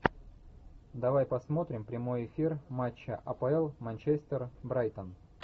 давай посмотрим прямой эфир матча апл манчестер брайтон